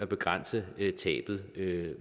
begrænser tabet